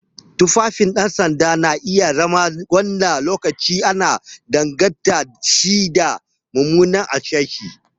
Tufafin 'yan sanda na iya zama wani lokaci ana danganta shi da mummuna hasashe.